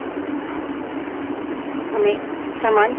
हमें समान परिणाम दिखता है